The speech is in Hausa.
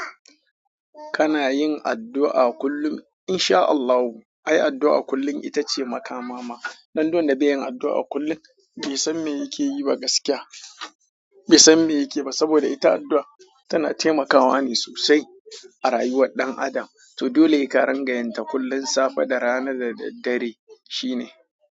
Kana yin addu'a kullum? Insha Allahu, ai addu'a kullum ita ce makamama. Dan duk wanda bai yin addu'a kullum, bai san me yake yi ba gaskiya. Bai san me yake ba saboda ita addu'a tana taimakawa ne sosai a rayuwar ɗan adam. To dole sai ka ringa yinta kullum, safe da rana da daddare shine.